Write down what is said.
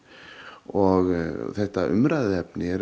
og þetta umræðuefni er